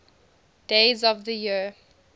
days of the year